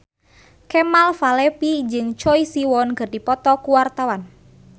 Kemal Palevi jeung Choi Siwon keur dipoto ku wartawan